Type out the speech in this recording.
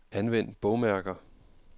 Anvend bogmærker.